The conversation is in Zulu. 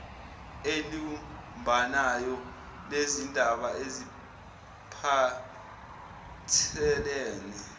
elibumbanayo lezindaba ezipahthelene